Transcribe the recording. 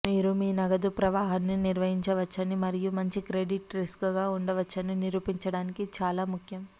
మీరు మీ నగదు ప్రవాహాన్ని నిర్వహించవచ్చని మరియు మంచి క్రెడిట్ రిస్క్గా ఉండవచ్చని నిరూపించడానికి ఇది చాలా ముఖ్యం